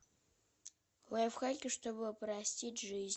лайфхаки чтобы упростить жизнь